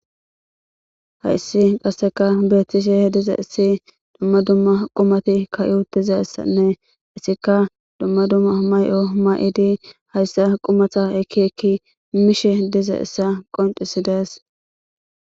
Haysi qaseka betishe dizaysa duma duma qumati kaxi uttidaysati etika duma duma mayo mayi uttidi qumata ekki ekki mizaysa qoncises